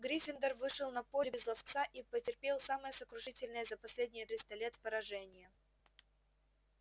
гриффиндор вышел на поле без ловца и потерпел самое сокрушительное за последние триста лет поражение